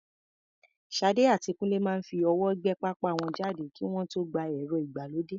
Sade àti Kunle máa ń fi ọwọ́ gbé pápá wọn jáde kí wọ́n tó gba ẹ̀rọ ìgbàlódé.